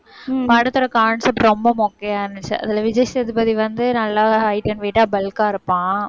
படத்தோட concept ரொம்ப மொக்கையா இருந்துச்சு. அதில விஜய் சேதுபதி வந்து நல்லாவே height and weight ஆ bulk ஆ இருப்பான்.